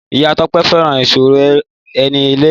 Ìyá Tọ́pé fẹ́ràn ìsọ̀rọ̀-ẹni-lẹ́yìn